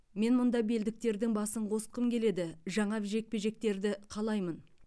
мен мұнда белдіктердің басын қосқым келеді жаңа жекпе жектерді қалаймын